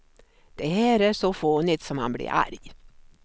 Det här är så fånigt så man blir arg.